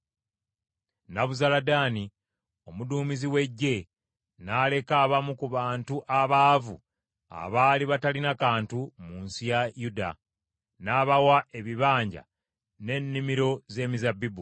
Nebuzaladaani omuduumizi w’eggye, n’aleka abamu ku bantu abaavu abaali batalina kantu, mu nsi ya Yuda; n’abawa ebibanja n’ennimiro z’emizabbibu.